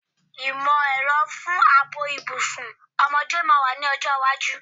Ìmọ̀-ẹ̀rọ fún ààbò ìbùsùn ọmọdé máa wà ní ọjọ́ iwájú.